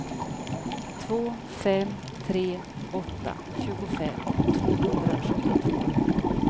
två fem tre åtta tjugofem tvåhundrasjuttiotvå